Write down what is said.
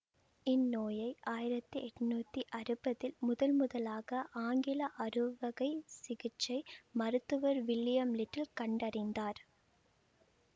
இந்நோயை ஆயிரத்தி எட்ணூத்தி அறுவதில் முதன்முதலாக ஆங்கில அறுவை சிகிச்சை மருத்துவர் வில்லியம் லிட்டில் கண்டறிந்தார்